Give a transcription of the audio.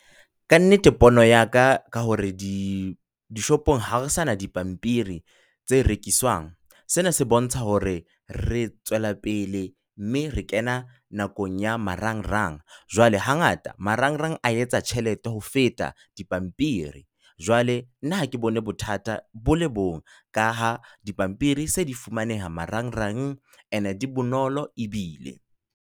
Ka nnete, pono ya ka ka hore dishopong ha re sa na dipampiri tse rekiswang. Sena se bontsha hore re tswela pele mme re kena nakong ya marangrang. Jwale hangata marangrang a etsa tjhelete ho feta dipampiri. Jwale nna ha ke bone bothata bo le bong ka ha dipampiri tsa di fumaneha marangrang and-e di bonolo ebile.